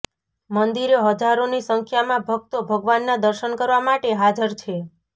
મંદિરે હજારોની સંખ્યામાં ભક્તો ભગવાનના દર્શન કરવા માટે હાજર છે